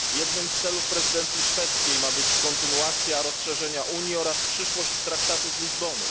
Jednym z celów prezydencji szwedzkiej ma być kontynuacja rozszerzenia Unii oraz przyszłość traktatu z Lizbony.